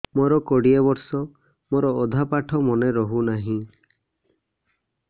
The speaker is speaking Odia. ମୋ କୋଡ଼ିଏ ବର୍ଷ ମୋର ଅଧା ପାଠ ମନେ ରହୁନାହିଁ